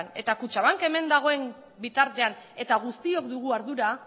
eta kutxabank hemen dagoen bitartean eta guztiok dugu ardura